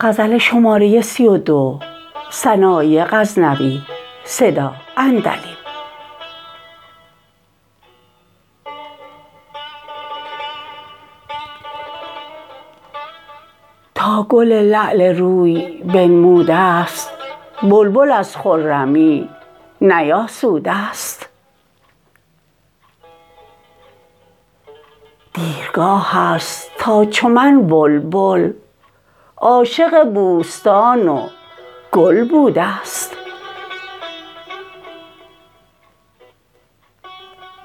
تا گل لعل روی بنمودست بلبل از خرمی نیاسودست دیرگاهست تا چو من بلبل عاشق بوستان و گل بودست